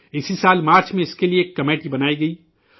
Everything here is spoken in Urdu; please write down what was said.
اسی سال مارچ میں اس کے لیے ایک کمیٹی تشکیل دی گئی تھی